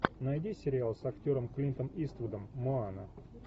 найди сериал с актером клинтом иствудом моана